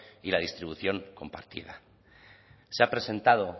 y la distribución compartida se ha presentado